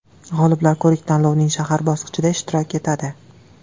G‘oliblar ko‘rik-tanlovning shahar bosqichida ishtirok etadi.